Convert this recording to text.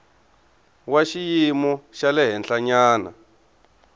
wa xiyimo xa le henhlanyana